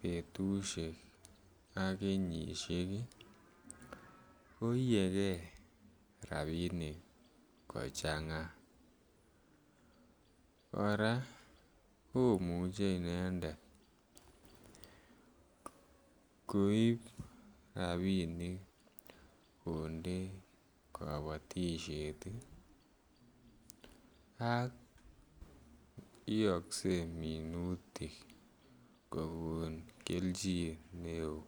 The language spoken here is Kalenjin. betushek ak kenyisiek ii ko iyegee rabinik kochanga. Koraa komuche inendet koib rabinik konde kobotishet ii ak iogse minutik kogon kelchin ne oo